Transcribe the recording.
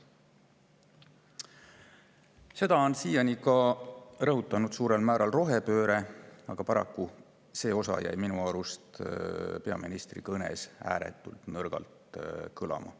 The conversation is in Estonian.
Seda on siiani rõhutatud suurel määral rohepöörde puhul, aga minu arust jäi see osa peaministri kõnes ääretult nõrgalt kõlama.